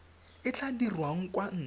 e tla dirwang kwa ntle